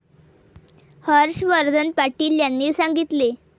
हर्षवर्धन पाटील यांनी सांगितले.